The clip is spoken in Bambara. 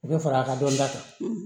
U bɛ fara a ka dɔnniya kan